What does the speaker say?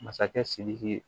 Masakɛ sidiki